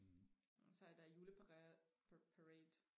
især der i juleparade parade